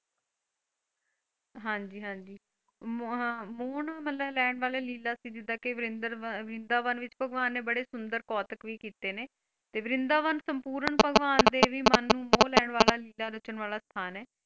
ਹਾਂਜੀ ਹਾਂਜੀ ਵਾਲੀ ਲੀਲਾ ਸੀ ਜੀਦਾ ਮਤਲੱਬ ਕੇ ਵ੍ਰਿੰਦਾਵਨ ਵਿੱਚ ਭਗਵਾਨ ਨੇ ਬੜੇ ਸੁੰਦਰ ਕੋਥਕ ਵੀ ਕੀਤੇ ਨੇ, ਤੇ ਵ੍ਰਿੰਦਾਵਨ ਸੰਪੂਰਨ ਰਚਣ ਵਾਲਾ ਸਥਾਨ ਹੈ।